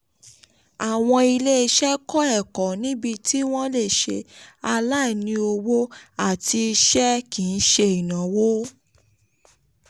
àwọn ilé-iṣẹ́ kọ́ ẹ̀kọ́ níbí tí wọ́n lè ṣe aláìní owó àti iṣẹ́ kì í ṣe ìnáwó.